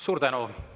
Suur tänu!